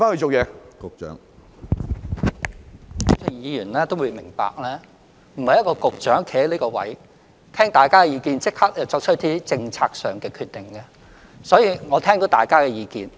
主席，議員也會明白，一位局長站在這個位置聽過大家的意見後，並不是立即便作出一些政策上的決定，我聽到大家的意見。